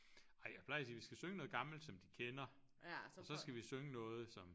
Ej jeg plejer at sige vi skal synge noget gammelt som de kender og så skal vi synge noget som